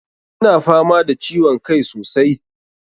Ina fama da ciwon kai sosai.